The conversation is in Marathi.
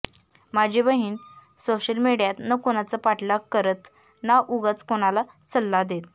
माझी बहिण सोशल मीडियात न कुणाचा पाठलाग करत ना उगाच कुणाला सल्ला देत